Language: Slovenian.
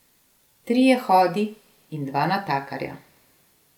Trije hodi in dva natakarja.